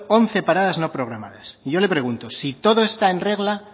once parados no programadas y yo le pregunto si todo está en regla